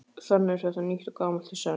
Þannig er þetta nýtt og gamalt í senn.